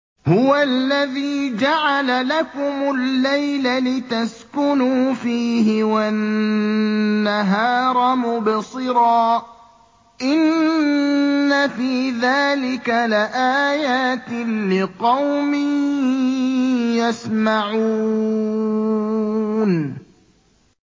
هُوَ الَّذِي جَعَلَ لَكُمُ اللَّيْلَ لِتَسْكُنُوا فِيهِ وَالنَّهَارَ مُبْصِرًا ۚ إِنَّ فِي ذَٰلِكَ لَآيَاتٍ لِّقَوْمٍ يَسْمَعُونَ